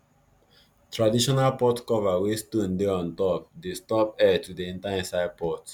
traditional pot cover wey stone dey untop dey stop air to dey enter inside pot